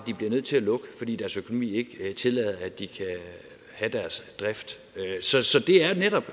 de bliver nødt til at lukke fordi deres økonomi ikke tillader at de kan have deres drift så så det er netop